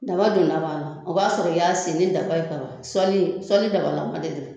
Daba donda b'a la, o b'a sɔrɔ i y'a sen ni daba ye kaban, sɔli sɔli dabalama de don.